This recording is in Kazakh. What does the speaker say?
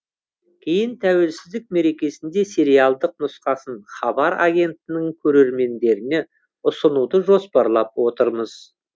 кейін тәуелсіздік мерекесінде сериалдық нұсқасын хабар агенттігінің көрермендеріне ұсынуды жоспарлап отырмыз